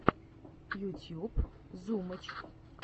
ютьюб зумыч